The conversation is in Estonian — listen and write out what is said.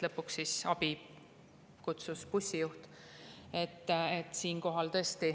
Lõpuks kutsus abi bussijuht.